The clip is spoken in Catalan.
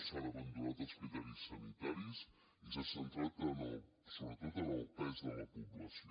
s’han abandonat els criteris sanitaris i s’ha centrat sobretot en el pes de la població